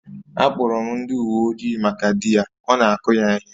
A kpọrọ m ndị uwe ojii maka di ya, ọ na-akụ ya ihe